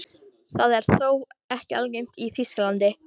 Það er þó ekki algengt í Þýskalandi.